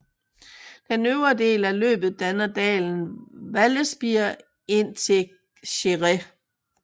Den øvre del af løbet danner dalen Vallespir indtil Céret